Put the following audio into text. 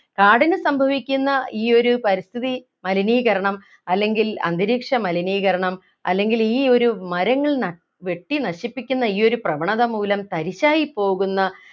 കാടിന് സംഭവിക്കുന്ന ഈ ഒരു പരിസ്ഥിതി മലിനീകരണം അല്ലെങ്കിൽ അന്തരീക്ഷ മലിനീകരണം അല്ലെങ്കിൽ ഈ ഒരു മരങ്ങൾ ന വെട്ടി നശിപ്പിക്കുന്ന ഈ ഒരു പ്രവണത മൂലം തരിശായിപ്പോകുന്ന